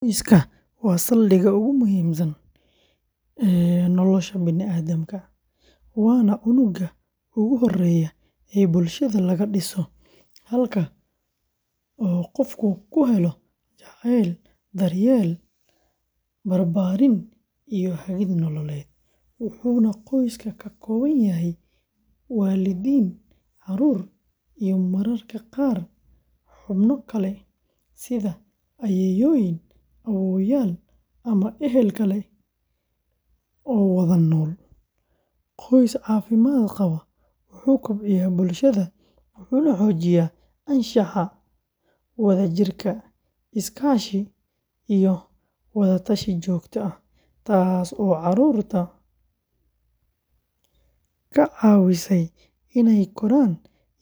Qoyska waa saldhigga ugu muhiimsan ee nolosha bani’aadamka, waana unugga ugu horreeya ee bulshada laga dhiso, halkaas oo qofku ku helo jacayl, daryeel, barbaarin, iyo hagid nololeed, wuxuuna qoyska ka kooban yahay waalidiin, carruur, iyo mararka qaar xubno kale sida ayeeyooyin, awoowayaal, ama ehel kale oo wada nool; qoys caafimaad qaba wuxuu kobciyaa bulshada, wuxuuna xoojiyaa anshaxa, wadajirka, is-kaashi, iyo wada-tashi joogto ah, taasoo caruurta ka caawisa inay koraan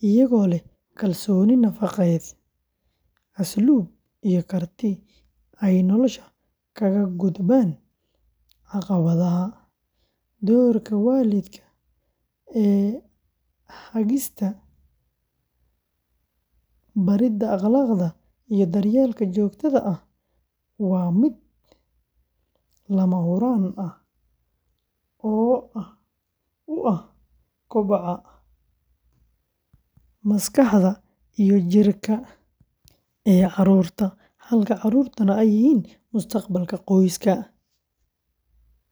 iyagoo leh kalsooni nafeed, asluub, iyo karti ay nolosha kaga gudbaan caqabadaha; doorka waalidka ee hagista, baridda akhlaaqda, iyo daryeelka joogtada ah waa mid lama huraan u ah koboca maskaxda iyo jidhka ee carruurta, halka carruurtuna ay yihiin mustaqbalka qoyska.